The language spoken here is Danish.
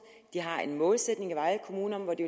de har en målsætning i vejle kommune om hvor det